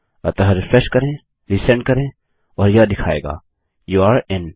अतः रिफ्रेश करें रिसेंड करें और यह दिखायेगा यूरे in